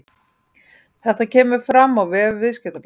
Þetta kemur fram á vef Viðskiptablaðsins